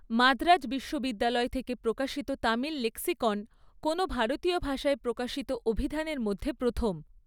মাদ্রাজ বিশ্ববিদ্যালয় থেকে প্রকাশিত তামিল লেক্সিকন, কোনও ভারতীয় ভাষায় প্রকাশিত অভিধানের মধ্যে প্রথম।